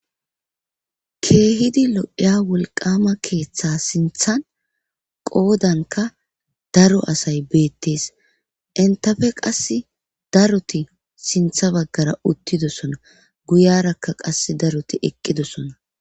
keehidi lo'iya wulqama keeththe sinthan qoodanka daro asay beettees intafe qas daruti sintha baggara uttidosona guyarakka qas daruti eqqidosona